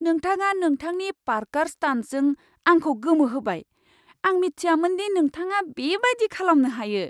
नोंथाङा नोंथांनि पार्क'र स्टान्टजों आंखौ गोमोहोबाय, आं मिथियामोन दि नोंथाङा बेबायदि खालामनो हायो!